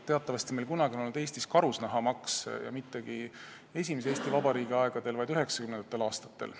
Teatavasti oli kunagi Eestis karusnahamaks ja mitte esimese Eesti Vabariigi aegadel, vaid 1990. aastatel.